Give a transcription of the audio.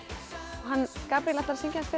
hann Gabríel ætlar að syngja fyrir